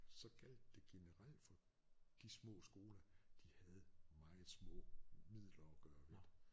Så gjaldt det generelt for de små skoler de havde meget små midler at gøre ved